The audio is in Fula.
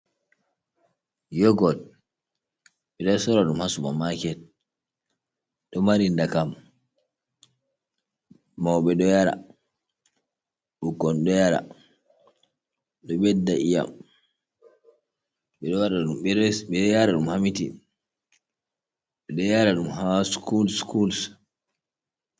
yogot, bido sora dum ha supa maket, domari nda kam, maube do yar, bikkon do yara do bedda i'am, be yaara dum ha mitin, bedo yara dum ha skuls ,skuls.